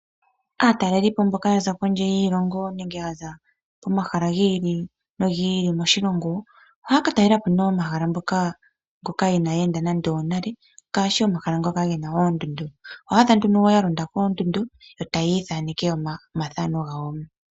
Aatalelipo mboka yaza kondje yiilongo nenge yaza komahala gi ili nogi ili moshilongo, ohaya ka talela po nee omahala mpoka inaaya enda nande onale ngaashi omahala ngoka gena oondundu, oho adha nduno ya londa koondundu, e tayi ithaneke omathano gawo.